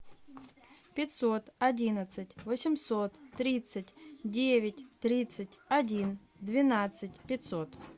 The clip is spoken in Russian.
пятьсот одиннадцать восемьсот тридцать девять тридцать один двенадцать пятьсот